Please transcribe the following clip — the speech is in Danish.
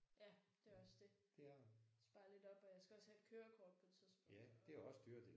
Ja det er også det. Spare lidt op og jeg skal også have et kørekort på et tidspunkt og